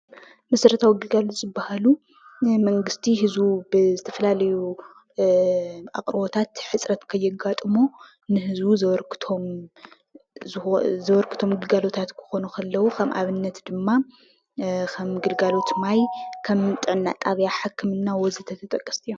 መሰረታዊ ግልጋሎት ዝበሃሉ ናይ መንግስቲ ህዝቢ ብዝተፈላለዩ ኣቕርቦታት ሕፅረት ከየጋጥሞ ንህዝቢ ዘበርክቶም ግልጋሎታት ክኾኑ ከለው ንኣብነት ድማ ከም ግልጋሎት ማይ ፣ ከም ጥዕና ጣብያ ሕክምና ወዘተ ተጠቐስቲ እዮም።